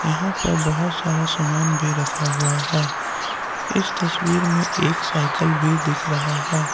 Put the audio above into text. यहां पर बहुत सारा सामान भी रखा हुआ है इस तस्वीर में एक साइकल भी दिख रहा है।